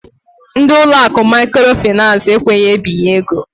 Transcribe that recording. Ndị ụlọ akụ Maikro Finans ekweghizi ebinye ego.